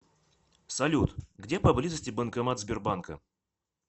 салют где поблизости банкомат сбербанка